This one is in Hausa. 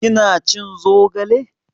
Kina cin zogale?